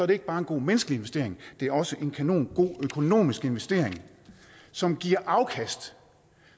det ikke bare en god menneskelig investering det er også en kanongod økonomisk investering som giver afkast